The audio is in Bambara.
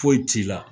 Foyi t'i la